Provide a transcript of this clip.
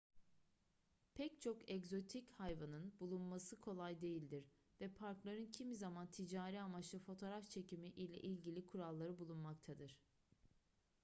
pek çok egzotik hayvanın bulunması kolay değildir ve parkların kimi zaman ticari amaçlı fotoğraf çekimi ile ilgili kuralları bulunmaktadır